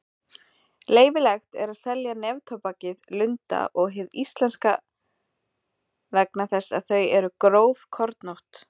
Leyfilegt er að selja neftóbakið Lunda og hið íslenska vegna þess að þau eru grófkornótt.